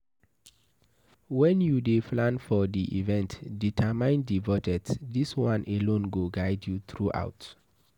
When you dey plan for di event, determine di budget, this one alone go guide you throughout